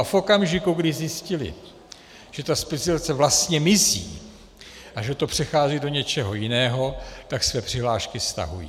A v okamžiku, kdy zjistili, že ta specializace vlastně mizí a že to přechází do něčeho jiného, tak své přihlášky stahují.